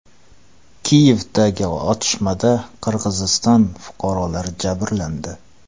Kiyevdagi otishmada Qirg‘iziston fuqarolari jabrlandi.